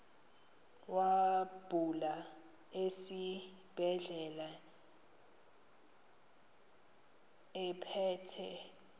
wabuya esibedlela ephethe